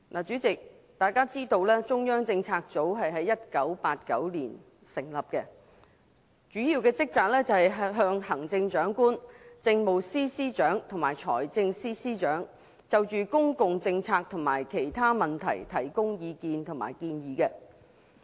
主席，大家知道中央政策組於1989年成立，主要職責是向行政長官、政務司司長和財政司司長就公共政策及其他問題提供意見及建議。